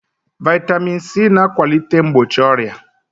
Vitamin C na akwalite mgbochi ọrịa